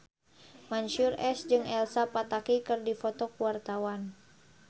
Mansyur S jeung Elsa Pataky keur dipoto ku wartawan